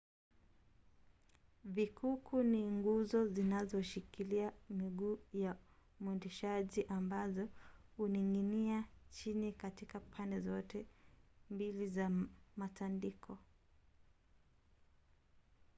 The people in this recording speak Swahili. vikuku ni nguzo zinazoshikilia miguu ya mwendeshaji ambazo huning’inia chini katika pande zote mbili za matandiko